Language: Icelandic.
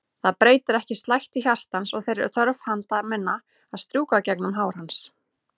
Það breytir ekki slætti hjartans og þeirri þörf handa minna að strjúka gegnum hár hans.